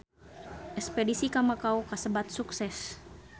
Espedisi ka Makau kasebat sukses